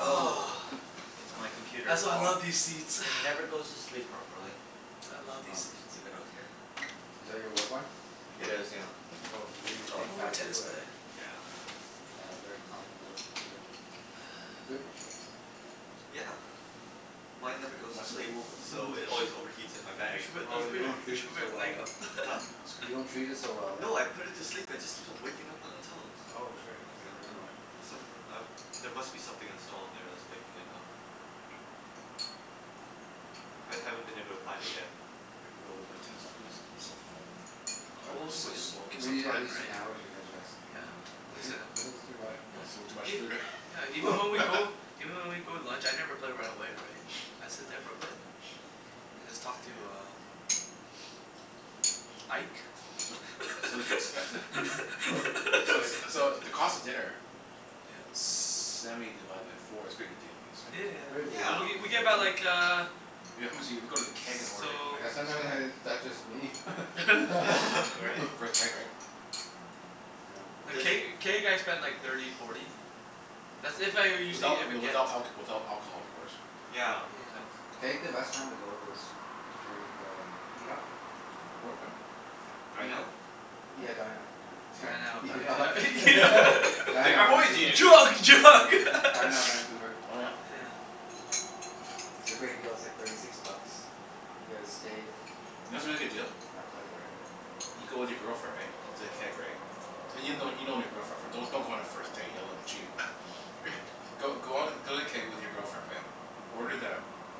Oh, it's Huh? my computer. that's why I Oh. love these seats. It never goes to sleep properly. That's why I love So these I'll just seats uh leave it out here. Oh. Is that your work one? It is, yeah. Oh, they give you I'll move my Thinkpads tennis too, eh? bag Yeah. Yeah, very common work computer. Good machines. Yeah. Mine never goes to Nice and sleep cool. so Mhm. it always overheats in my You bag, should put, but you Oh, that's should put, you okay. don't you treat should it put so your well, leg eh? up. Huh? No, it's You don't okay. treat it so well, eh? No, I put it to sleep. It just keeps waking up on its own. Oh, shit. Like, Okay, I never dunno mind. Some, um there must be something installed on there that's waking it up. I haven't been able to find it yet. Think we'll be able to play tennis after this? I'm so full. Probably O- be oh but so th- I- we'll slow. give We some need at time, least an right? hour to digest. Yeah, Mm. at least an This is hour. too much. Oh, it's a little too Yeah, much ev- food, yeah, even when we go eh? even when we go to lunch, I never play right away, right? I sit there for a bit and just talk to Can I uh uh Ike. C- so the c- t- So Ike. it's so the cost of dinner Yeah. Seventy divided by four. It's a pretty good deal I guess, Yeah yeah right? Very yeah. good W- deal. Yeah. w- we get Very buy good Yeah. like de- uh We how much eat if we go to the Keg and order i- So Yeah sometime steak has that's just me. Right? For the Keg, right? Yeah. Th- Does can't y- can't you guys spend like thirty, forty? That's if I owe usually, Without if I w- get without alc- without alcohol Yeah. of course. Yeah, Yeah. that's Keg, the best time to go is during the m- Eat Up. Where at when? Dine Eat Out? up. Hmm? Yeah, Dine out, Dine Out. Sorry. Dine Oh, Out, Dine Eat Up. yeah yeah Out, You yeah. don- right. Dine like, Out "I'm always Vancouver. eating out." Drug! Drug! Mm, Dine Out Vancouver. Oh yeah? Yeah. It's a great deal. It's like thirty six bucks. You get a steak, You know what's a really good deal? uh, appetizer and You go with your girlfriend, right? To the Mm. Keg, right? And you'll know you've known your girlfriend for don- don't go on a first date. You'll look cheap. Go go on th- go to the Keg with your girlfriend, right? Order the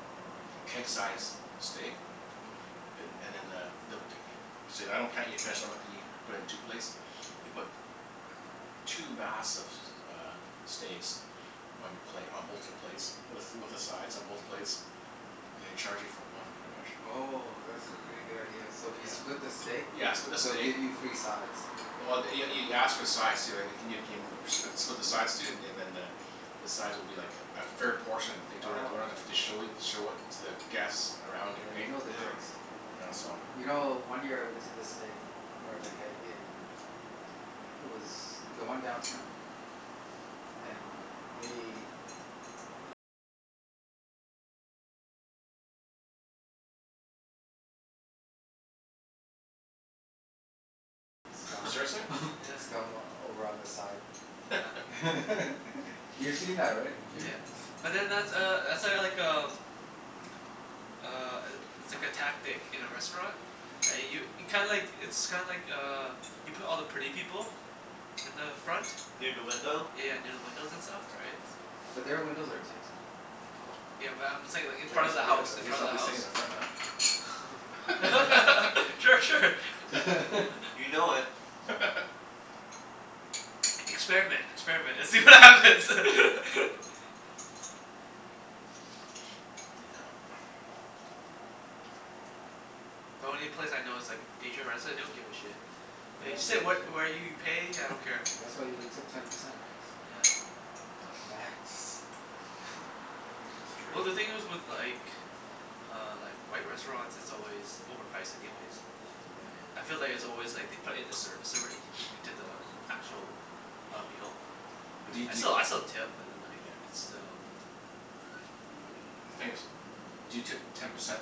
keg-sized steak. Mhm. A- and then uh, they'll c- e- Say I don't can't eat finish, and I'm like can ye- put it in two plates? They put two massive s- uh steaks on your plate, on both your plates with with the sides on both plates. And they charge you for one, pretty much. Oh, that's a pretty good Oh. idea. So if you Yeah. split the steak Yeah, split the they'll steak give you free sides. Well th- y- y- you ask for the sides too, right? Can you keen- spli- split the sides too, and and then the the sides will be like a fair portion they don't Oh, don't have okay. to show it show it to the guests around you, Yeah, you right? know their Yeah. tricks. Yeah. Yeah, so You know, Yeah. one year I went to the steak or the Keg in it was the one downtown. And they Huh. scum Seriously? Yeah. scum over on the side. Yeah. You've seen that, right Jimmy? Yeah. But then that's uh that's uh like um uh, i- it's like a tactic in a restaurant. I Yeah. u- kinda like, it's kinda like uh you put all the pretty people in the front. Near da window? Yeah, near the windows and stuff, right? So But their windows are tinted and Oh. Yeah, but I'm saying like in I Yeah, front guess of the oh yeah, house. I In that's guess right front I'll of the be sitting house. in the front then. Yeah. Sure. Sure. You know it. Experiment. Experiment, and see what Mm. happens. Yeah. The only place I know is like Asian restr- they don't give a shit. Yeah, they You don't sit give a wh- shit. where you pay, I don't Yeah, care. that's why you tip Yeah. ten percent max, right? Yeah. Not Max. Yeah. That's Well true. the thing is with like uh like, white restaurants, it's always overpriced anyways. Yeah. Yeah. I feel like it's always like they put in the service already into the actual uh, meal. But do Right? y- I do still I y- still tip, but then like Yeah. it's still, yeah. The thing is, do you tip ten percent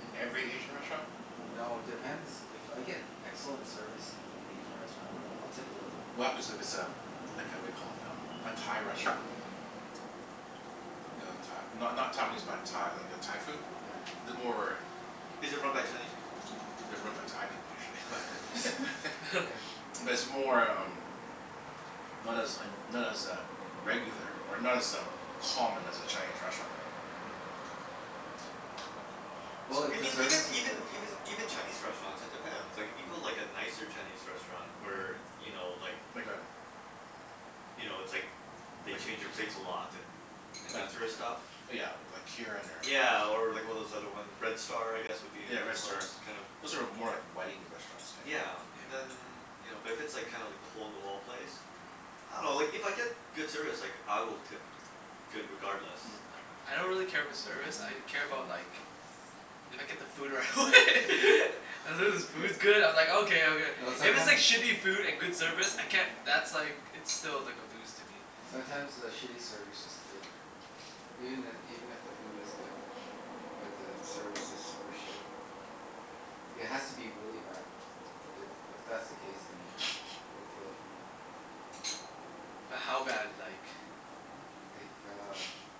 in every Asian restaurant? No, it depends. If I get excellent service in an Asian restaurant I'll tip a little bit What more. happens it it's Yeah. a like a whaddya call it? Um, a Thai restaurant? You know, Thai not not Taiwanese, but Tha- like uh Thai food? Yeah. The more Is it run by Chinese people? They're run by Thai people, usually but Yeah. But it's more um not as un- not as uh regular, or not as um, common as a Chinese restaurant, right? Mhm. Well, So if the Even even service is even good I'll even tip more. even Chinese restaurants, it depends. Like if you go like Yeah. a nicer Chinese restaurant where, Mhm. you know, like Like a you know, it's like they like change your plates a lot and and Like that Yeah. sorta stuff? li- yeah, we- like Kirin or Yeah, or like one of those other one, Red Star I guess would be Yeah, Red another one of Star. those kinda Those are more like wedding restaurants, I think. Yeah, Yeah. then you know, but if it's kinda like the hole in the wall place. Mhm. I dunno, like if I get good service like I will tip good regardless. Yeah. I don't Like really care about service, I care about like if I get the food right Mm. away. As long Mm. as the food's good, I'm like okay, okay. No, If it's like sometimes shitty food and good service, I can't that's like, it's still like a lose to me. sometimes the Mm. shitty service just kills it for me. Even i- even if the food is good but the service is super shit. Mm. It has to be really bad. But if if that's the case then Yeah. it'd kill it for me. But how bad, like? Like uh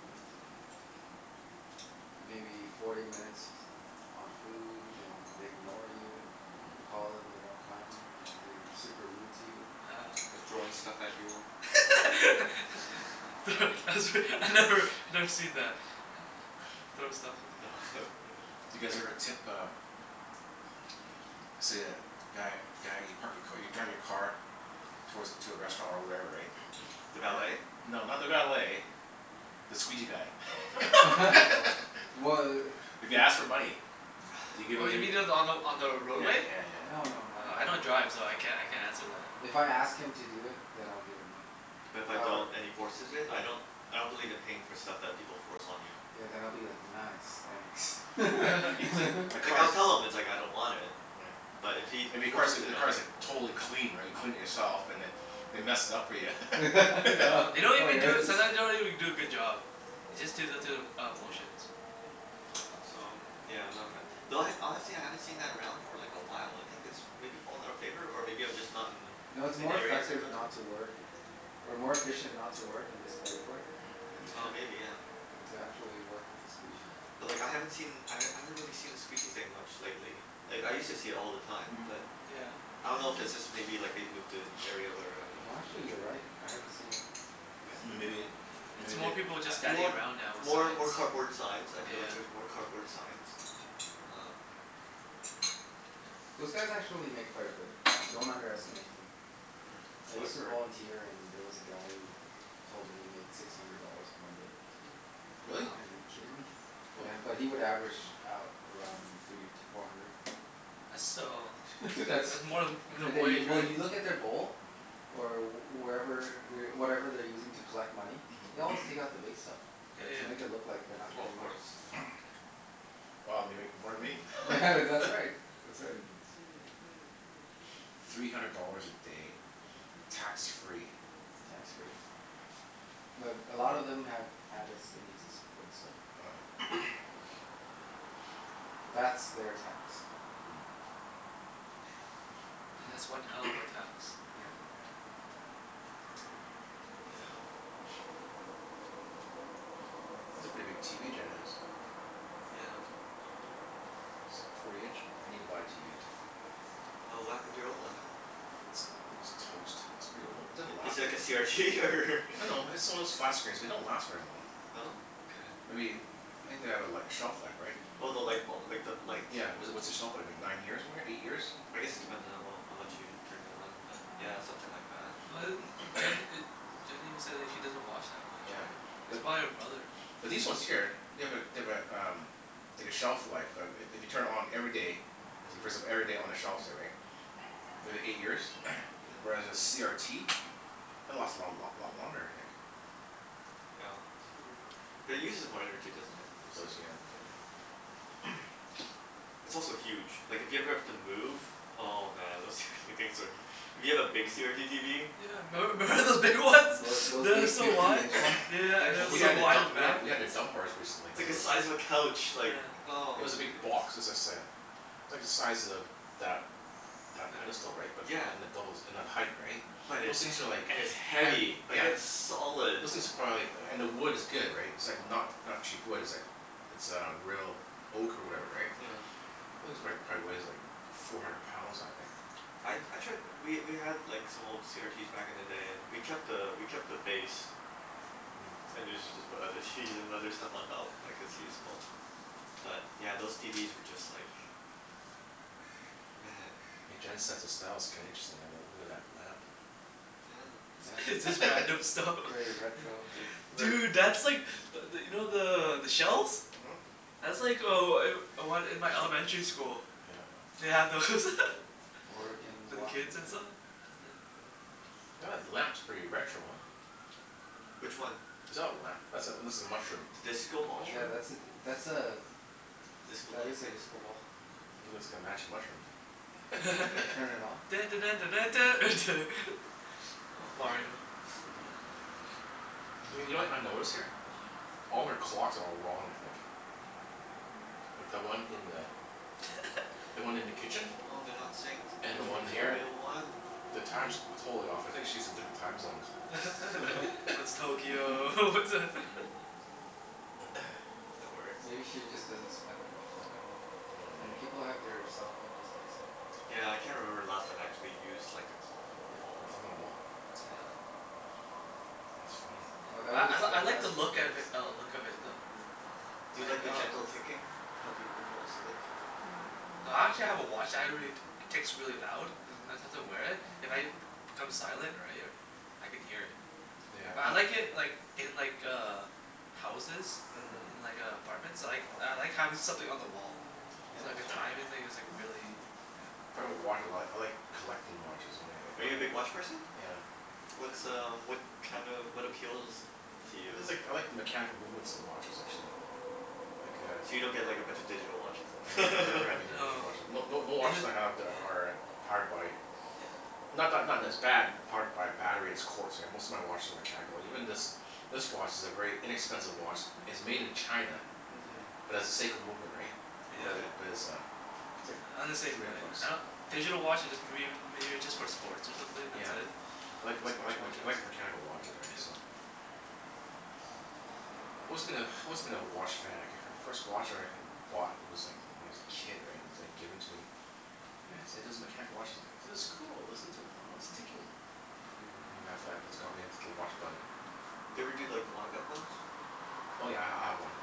maybe forty minutes on food and they ignore you. You call them, they don't come. Or they're super rude to you. Oh. They're throwing stuff at you. Yeah. Mm. Thro- that's re- I've never, I've never seen that. Throw stuff off No, I haven't really. Do you guys ever tip uh let's say a guy guy you park your ca- you drive your car towards a, to a restaurant or wherever, right? Mm. The valet? And No, not the valet the squeegee guy. Oh. Wh- If he i- asks for money? Do you give Oh it y- you mean y- the, on the on the Yeah roadway? yeah yeah yeah. No no no, I Oh, I don't don't drive so I can't I can't answer that. If I ask him to do it then I'll give him money. But if I don't However Yeah. and he forces it? Yeah. I don't I don't believe in paying for stuff that people force on you. Yeah, then I'll be like, "Nice, thanks." Right. You've clea- my Like I'll car's tell him it's like I don't want it. Yeah. But if he If your car's forces like, it the on me car's like totally clean right? You cleaned it yourself and then they mess it up for ya. Yeah. Yeah. They don't even do a, sometimes they don't even do a good job. They just do the through the uh Yeah. motions. Yeah, so I'm yeah, I'm not a fan. Mm. Though I, honestly I haven't seen that around for like a while. I think it's maybe fallen out of favor? Or maybe I'm just not in No, it's in more the areas I effective go to? not to work or more efficient not to work and just beg for it, yeah than Oh, Yeah. maybe, yeah. than to actually work and squeegee. Yeah. But like I haven't seen I Mhm. h- I haven't really seen the squeegee thing much lately. Like, I used to see it all the time, but Yeah. Yeah. I don't know if it's just maybe like they've moved to Mhm. area where I don't No actually, you're venture. right. I haven't seen Yeah. it. I haven't Right? seen Then it in a maybe, while. Yeah. It's maybe they more people A just standing more around now with more signs. more cardboard signs. I Yeah feel yeah like yeah. there's more cardboard signs. Um Yeah. Those guys actually make quite a bit. Don't underestimate them. Mm, I Mm. so I've used Mm. to heard. volunteer and there was a guy who told me he made six hundred dollars in one day. Like, oh Really? Wow. man, are you kidding me? Holy. Yeah, but he would average out around three to four hundred. That's still, it's That's it's more than that's in a minimum day. wage, Well, right? you look in their bowl or wherever whatever they're using to collect money. They always take out the Mm. big stuff, Yeah right? yeah To make it look yeah. like they're not Oh, of getting much. course. Yeah. Yeah. Mhm. Wow, they make more than me. Yeah, Yeah. that's right. That's right. Three hundred dollars a day. Tax free. Tax free. But a lot of them have habits they need to support, so Oh yeah. that's Yeah. their tax. Mm. And Hmm. that's one hell of a tax. Yeah. Oh. Yeah. That's a pretty big TV Jen has. Yeah. That's like forty inch? I need to buy a TV, so Oh, what happened to your old one? Wh- uh It's, I think it's toast. It's pretty old. Mm. It didn't I- is last it like v- a CRT, or No no, it's the one of those flat screens, they don't last very long. No? Okay. Maybe, I think they have a li- shelf life, right? Oh, the lightbul- like, the light? Yeah, w- what's the shelf life, like nine years ma- eight years? I guess it depends on how well, how much you turn it on but yeah, something like that. Well a m- Jen e- Jen even says like she doesn't watch that much, Yeah, right? It's but probably her brother. But these ones Yeah. here, they have a they have a um like a shelf life. I- i- if you turn it on every day so you first them Mhm. every day on a shelf, say, right? If it eight years? Mhm. Whereas a CRT it'll last a long lot lot longer I think. Yeah. But it uses more energy, doesn't it? It does, Huh. Yeah. yeah. It's also huge. Like, if you ever have to move oh man, those tw- things are hu- If you have a big CRT TV. Yeah, memb- member those big ones? Mm. Th- those They were big so fifty wide. inch ones? Yeah yeah yeah, They're and it Well, was we so had to huge. wide dump, in the we had back. t- we had to Yeah. dump ours recently, It's cuz like it a was size of a couch. Like, Yeah. It oh was a big goodness. box. It was like say a like the size of that that Yep. pedestal, right? But, Yeah. and the doubles and then height, right? But Those it's he- things are like and it's heavy. heavy. Yeah. Like Yeah. it's solid. Those things are Yeah. probably like, and the wood is good, right? It's It's like not not cheap wood. It's like It's uh real oak or whatever, right? Yeah. This is like, probably weighs like four hundred pounds, that thing. I Mm. I tried, we we had like some old CRTs back in the day and we kept a we kept the base. Mm. And usually just put other TVs and other stuff on top. Like, it's Yeah. useful. But yeah, those TVs were just like man. Hey, Yeah. Jen's sense of style's kinda interesting. I uh look at that lamp. Yeah. It's Yeah. just random stuff. Very Yeah. retro, hey? Th- Very Dude, that's like but th- you know the the shells? Mhm. That's like oh I'm one in my elementary school. Yeah uh They had those. Aw. Oregon, For the kids and Washington. saw? Yeah. Yeah that lamp's pretty retro, huh? Which one? Is that a lamp? That's a, looks like a mushroom. The disco The ball? Yeah, mushroom? that's a d- that's a Disco that light is a thing? disco ball. Mhm. It looks like a magic mushroom. Yeah. Turn it on? Dun dun dun dun dun duh, duh. It's Oh, man. Mario, yeah. Y- you know what I notice here? All her clocks are all wrong, I think. Like, the one in the the one in the kitchen? Oh, they're not synced. And Which the Oh yeah, one one's th- you're the here? right. real one? The time's Mm. totally off. I think she's in different time zones. One's Tokyo, one's a That works. Maybe she just doesn't spend that much time at home, right? Yeah, maybe. And people have their cell phone these days. Yeah, I can't remember the last time I actually used like a clock on a Yeah. A wall. clock on the wall? Yeah. That's funny. Oh, that Yeah. I was l- the I like high the school look of days. i- uh look of it though. uh-huh. Do you Like, like the uh gentle ticking to help you go fall asleep? I actually have a watch that I really, t- ticks really loud. Mhm. Sometimes I wear it. If I b- become silent, right? I can hear it. Yeah, But I but like it like in like uh houses. Mhm. In like uh apartments. I like I like having something on the wall. Yeah, So Oh. like a that's true. timing thing is like really Yeah. Talking about watches a lot. I like collecting watches oh wh- if Are I you a big h- watch person? Yeah. What's um what kind of, what appeals to It's you? like, I like the mechanical movements of watches, actually. Like a So you don't get like a bunch of digital watches I then? have never have any digital No. watches. No no no Yeah. watches I have there are powered by Yeah. Not not not that it's bad powered by a battery it's quartz Most of my watches are mechanical. Even this this watch is a very inexpensive watch it's made in China Mhm. but has a Seiko movement, right? But Yeah. Okay. it, but it's a it's Yeah, I'm the like three same hundred way. bucks. I don- Digital watches just mayb- maybe just for sports or something. That's Yeah. it. Like like Sports like mech- watches. like a mechanical watches, right? Yeah. So Always been a, always been a watch fanatic. My first watch I h- bought was like when I was a kid, right? And it's like given to me. And it's it is mechanical watch as I go, "This is cool. Listen to it. Oh, it's ticking." Mm. And after that that's got me into the watch bug. Do you ever do like the wind-up ones? Oh yeah, I h- I have one.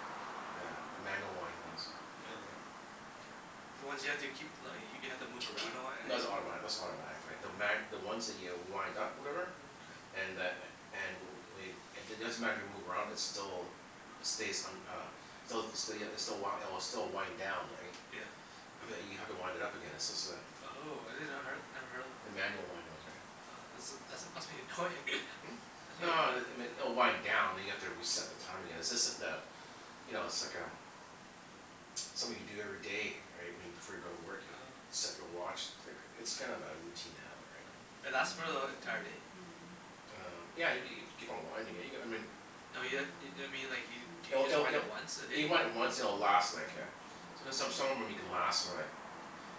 Yeah. A manual wind ones. Yeah. Yeah. Yeah, the ones you have to keep li- y- you have to K- move kee- around a lot and no like that's automatic, that's not automatic, right? The ma- the ones that you wind up, whatever? Yeah huh. And the a- and w- wade it doesn't matter if you move around it's still stays un- uh Stelz the still ya it's the w- it'll still wind down, right? Yeah. But you have to wind it up again, it's just a Oh, I did not her- never heard of the them. manual wind ones, right? Oh, that's a that's must be annoying. Hmm? Must be No annoying. it it m- oh wind down and you have to reset the time again. It's just that uh You know, it's like um something you do every day, right? When you, before you go to work, you Oh. set your watch. Click. It's kind of a routine habit, right? Oh. And that's for the e- entire day? Um, yeah y- g- you keep on winding it, you g- I mean No you ha- i- I mean like you do you It'll just it'll wind it'll it once a You day? might once and it'll last like a there's some, some of them you can last for like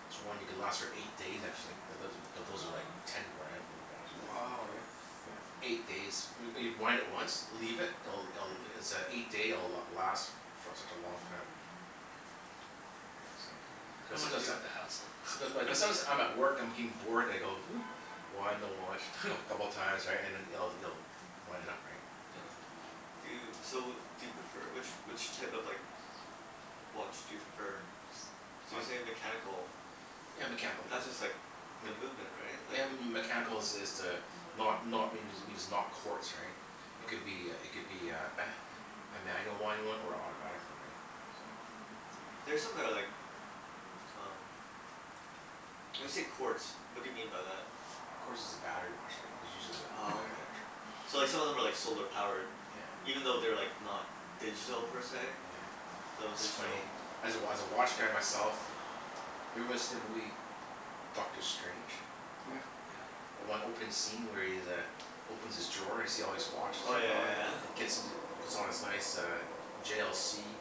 this one you can last for eight days, actually. It doesn't but those are like Oh, ten okay. Yeah. grand, those watches, right? Wow, right? Oh. Yeah, eight days. When y- wind it once Leave it. It'll it'll it's a eight day it'll last for such a long time. Mm. Right? So Mm. I Um But don't wanna sometimes deal that with the hassle. Someti- but sometimes I'm at work, I'm getting bored, and I go Wind the watch coup- couple of times, right? And then you'll you'll wind it up, right? Yeah. Do you, Yeah. so do you prefer, which which type of like watch do you prefer? So I you say mechanical. Yeah, mechani- like That's mm just like the mech- movement, right? Yeah, Like m- m- m- mechanical is is the not not means it means not quartz, right? It could be a Okay. it could be a a manual wind one or a autobatic one, right? So There's something that I like um When you Tis- say quartz, what do you mean by that? Quartz is a battery watch, right? It's usually the Oh, battery okay. watch. So, like some of them are like solar powered? Yeah. Even though they're like not digital, per se? Yeah. Those It's are funny. still As a wa- as a watch guy myself Have you ever watched them Lee Dr. Strange? Yeah. Yeah. The one opening scene where he's uh opens his drawer and you see all these watches Oh, yeah there? Oh yeah yeah. yeah. And it Yeah. gets into puts on his nice uh J l c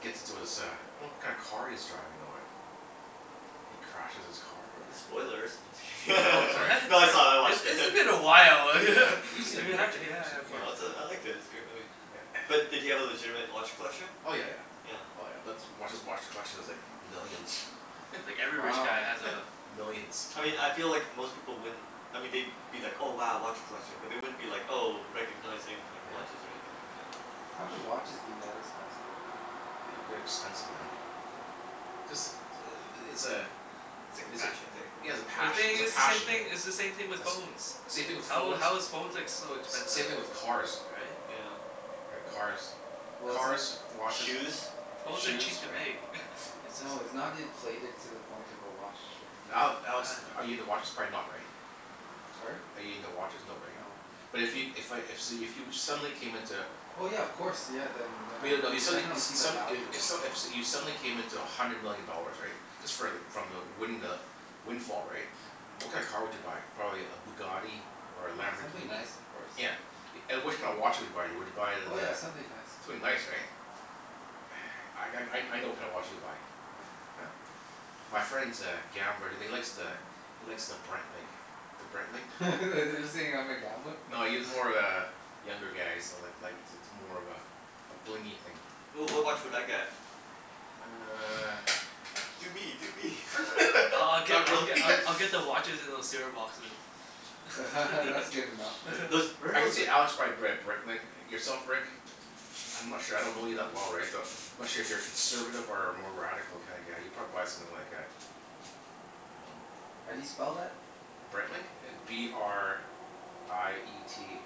gets into his uh I don't know what kind of car he's driving though, eh? And he crashes his car or whatever. Yeah. Spoilers. No, just Oh, wait, kidding. sorry. What? No, Sorry. it's all, I It's watched it. it's been a while. Yeah. You've seen the Yeah, movie, yeah right Jimmy? You s- yeah of yeah. course, No, it's a, I yeah. liked it. It's a good movie. Yeah. Yeah. But did he have a legitimate watch collection? Oh, yeah yeah. Yeah. Yeah. Oh yeah. That's watch, his watch collection is like millions. Yeah. Yeah, like every rich guy Wow. has a Millions. I mean I feel Yeah. like Wow. most people wouldn't I mean they'd be like, "Oh, wow, watch collection." But they wouldn't be like, oh, recognizing like Yeah. watches or anything like that. Mm. How can watches be that expensive, right? Ooh, they're expensive, man. Just the i- i- it's a It's like a is it fashion thing, yeah, it's a But the maybe? pash- thing it's a is, it's the same passion, right? thing, it's the same thing with That's phones. same thing with How phones. how is phones ex- so S- same expensive? thing with cars. Right? Yeah. Right. W- Cars. Well, it's no- Cars, watches Shoes. Phones are shoes, cheap to right. make. It's just No, it's not inflated to the point of a watch that can be Ale- Alex, I are you um into watches? Probably not, right? Sorry? Are you into watches? No, right? No, no. But if yo- if I if so you if you suddenly came into Oh yeah, of course. Yeah, then then But I'd you no if you suddenly e- definitely see s- the some value i- in if it. s- if you suddenly came into a hundred million dollars, right? Just for like from the winning the windfall, right? Yeah. What Mhm. kinda car would you buy? Probably a Bugatti? Or a Yeah, something Lamborghini? nice of course. Yeah. And which kind of watch would you buy? Would you buy the Oh the yeah, something nice, Something yeah. nice, right? I g- I I know what kinda watch you'll buy. What? Huh? My friend's a gambler and he likes the he likes the Breitling. The Breitling. Oh. Are you saying uh-huh. I'm a gambler? No, he's more of a younger guy, so like like it's it's more of a a blingy thing. Ooh, what Oh watch would I yeah. get? You uh Do me! Do me! I I I'll get Not I'll really. get I I'll get the watches in those c r boxes. That's good enough for Uh, me. Those, where are I could those see like Alex buy a Br- Breitling. Yourself Rick? I'm not sure. I don't know you that well, right? So I'm Mhm. not sure if you're a conservative or a more radical kinda guy. You'd probably buy something like a Um How do you spell that? Breitling? B r i e t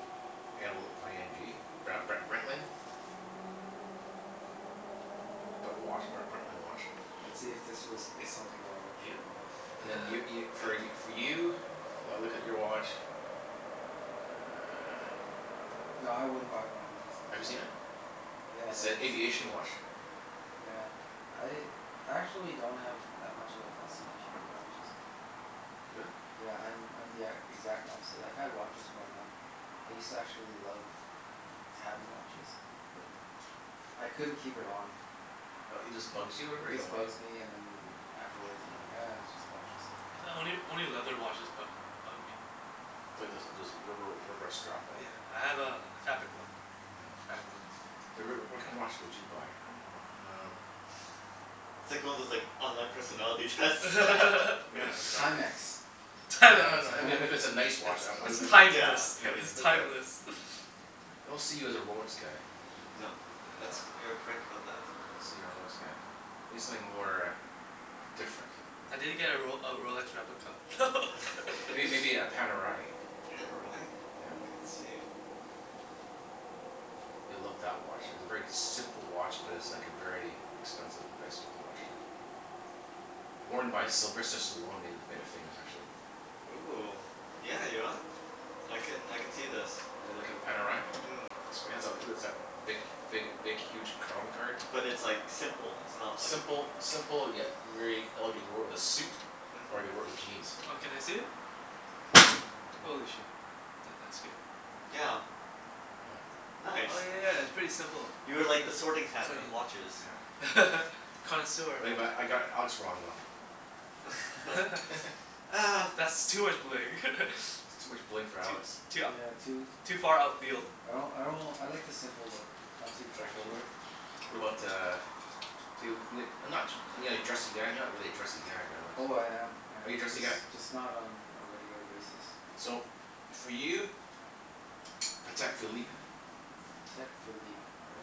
l i n g Br- Bre- Breitling. P- put watch, B- Breitling watch. Let's see if this was is something I'd Yeah. actually buy. And Okay. then y- y- Go for ahead, y- for do you? I'll look at your watch Ah Nah, I wouldn't buy one of these. Have you seen Sorry. it? Yeah, It's yeah. a The same aviation features. watch. Yeah. I I actually don't have that much of a fascination for watches. Really? Yeah, I'm I'm the e- exact opposite. I've had watches growing up. I used to actually love having watches. But I couldn't keep it on. Uh it just bugs you or Yeah, whatever? it You don't just like it? bugs me and then afterwards I'm like Oh. "Ah, it's just watches." Only only leather watches bu- bug me. Well there's there's rubber rubber strap Oh one. yeah, I have a a fabric one. Nyeah. Fabric one. So Rick, w- what kind of watch Yeah. would you buy? I dunno. Um It's like one of those like online personality tests. Yeah, exactly. Timex. You'd buy a No, no, I mean if it Time- if it's a nice It's watch I'd b- I'd it's be like Yeah, timeless. I Yeah, mean like It's look at timeless. I don't see you as a Rolex guy. No. That's, No. you are correct about that. I don't see you a Rolex guy. Maybe something more uh different. I did get a Rol- a Rolex replica. Are you It maybe a Panerai? Pan o rye? Yeah. Okay, let's see. You'll love that watch. It's a very simple watch, but it's like a very expensive, nice looking watch, too. Worn by Sylvester Panerai. Stallone made it made it famous, actually. Ooh, yeah, you know what? I can I can see this. You l- look at the Panerai? Mm. Looks pants off it'll is that big big big huge crown card. But it's like simple, it's not like Simple simple yet very elegant. He wore it with a suit. Or you could wear Mhm. it with jeans. Oh, can I see it? Ooh. Holy shit, that that scared me. Yeah. Yeah. Nice. Oh yeah yeah, it's pretty simple. You are like the sorting Huh. hat of Clean. watches. Yeah. Connoisseur of Like what? but I got Alex wrong, though. Ah That's too much bling. Too much bling for Too Alex. too Yeah, too ou- too far outfield I don't, I don't, I like the simple look. Not too You like flashy. simple What about Yeah. uh Feel it n- not too are you like dressy guy? You're not really a dressy guy, right Alex? Oh, I am I Are you am. dressy Just guy? just not on a regular basis. So, for you Patek Philippe. Patek Philippe. Yeah.